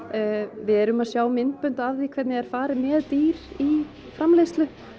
við erum að sjá myndbönd af því hvernig er farið með dýr í framleiðslu